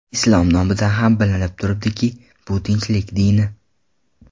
Islom nomidan ham bilinib turibdiki, bu tinchlik dini.